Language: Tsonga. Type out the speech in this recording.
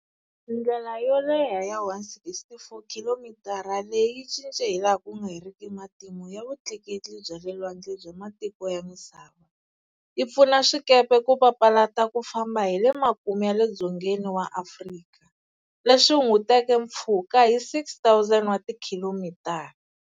Ndlela yo leha ya 164 Khilomitara leyi yi cince hi laha ku nga heriki matimu ya vutleketli bya le lwandle bya matiko ya misava, yi pfuna swikepe ku papalata ku famba hi le makumu ya le dzongeni wa Afrika, leswi hunguteke mpfhuka hi 6,000 wa tikhilomitara.